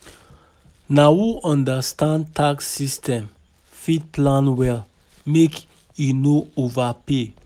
Na who understand tax system fit plan well make e no overpay.